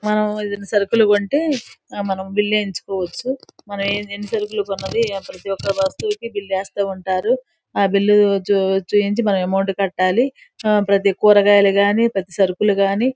మనమిక్కడ సరుకులు కొంటె ఆ బిల్ ఏయించుకోవచ్చు మనం ఎన్నిసరుకులు కొన్నది ప్రతి ఒక్కా వస్తువుకి బిల్ రాస్త ఉంటారు ఆ బిల్ వచ్చు చూపించి మనం అంమౌంట్ కట్టాలి ప్రతి కూరగాయలు కానీ ప్రతి సరుకులు గని --